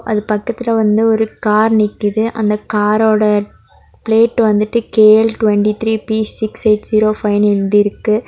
அது பக்கத்துல வந்து ஒரு கார் நிக்குது. அந்த காரோட பிளேட் வந்திட்டு K L twenty three B six eight zero ஃபைனு எழுதி இருக்கு.